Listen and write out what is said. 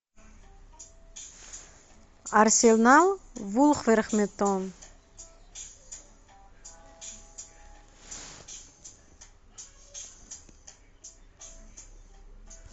арсенал вулверхэмптон